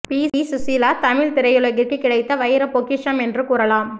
B Susheela Tamil திரையுலகிற்கு கிடைத்த வைர பொக்கிஷம் என்று கூறலாம்